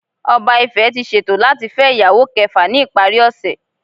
Oba Ife ti ṣeto lati fẹ iyawo kẹfa ni ipari ose.